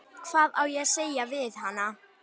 Hvað á ég að segja við hana?